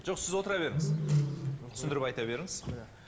жоқ сіз отыра беріңіз түсіндіріп айта беріңіз